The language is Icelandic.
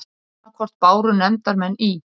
Annað hvort báru nefndarmenn í